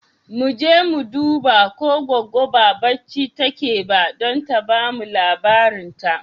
Mu je mu duba ko Goggo ba barci take ba don ta ba mu labarin ta.